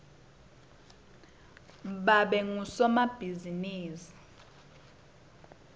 babe ngusomabhizimisi